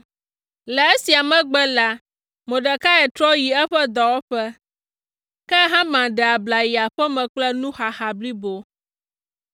Le esia megbe la, Mordekai trɔ yi eƒe dɔwɔƒe, ke Haman ɖe abla yi aƒe me kple nuxaxa blibo.